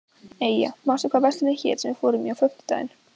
Eyja, manstu hvað verslunin hét sem við fórum í á fimmtudaginn?